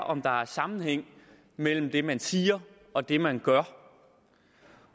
om der er sammenhæng mellem det man siger og det man gør